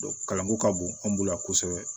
kalanko ka bon an bolo yan kosɛbɛ